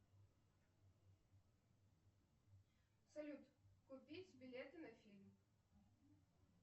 салют купить билеты на фильм